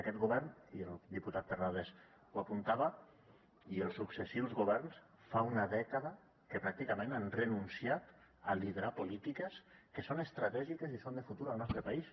aquest govern i el diputat terrades ho apuntava i els successius governs fa una dècada que pràcticament han renunciat a liderar polítiques que són estratègiques i són de futur al nostre país